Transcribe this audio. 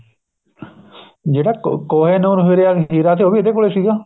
ਜਿਹੜਾ ਕੋਹਿਨੂਰ ਹੀਰਾ ਸੀ ਉਹ ਵੀ ਇਹਦੇ ਕੋਲ ਸੀਗਾ